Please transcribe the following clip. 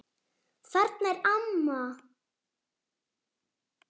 Þarna er amma!